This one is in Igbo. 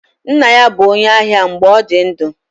Nna ya bụ onye ahịa mgbe ọ dị ndụ.